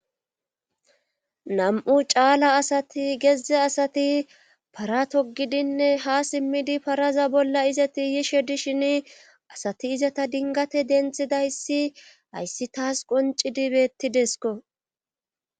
nam7u caala asati gezze asati para togidinne ha simmidi paraza bolla izati yishe dishin asati izata dingate denthidayssi hayssi taas qonci dibettidesko